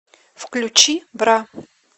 включи бра